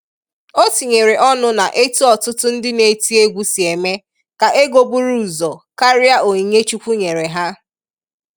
O tinyere ọnụ na-etu ọtụtụ ndị na-eti egwu si eme ka ego buru ụzọ karịa onyinye Chukwu nyere ha.